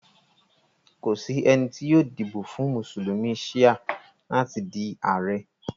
Kò sí ènì tó yóò díbọ̀ fún Musulumi Shia látì dí Ààrẹ̀.